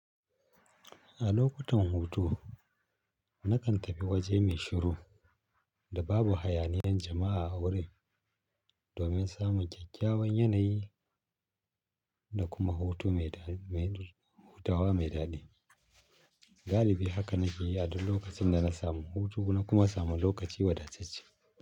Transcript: A lokutan hutu, na kan tafi waje mai shiru da babu hayaniyan jama'a a wurin domin samun kakyawan yanayi da kuma hutawa mai daɗi. Galibi haka na ke yi a duk lokacin da na samu hutu da kuma samu lokaci wadatacce.